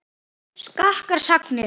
Skakkar sagnir.